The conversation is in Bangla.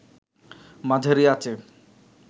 মাঝারি আঁচে